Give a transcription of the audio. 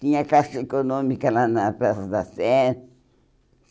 Tinha Caixa Econômica lá na Praça da Sé.